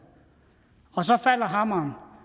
og så falder hammeren for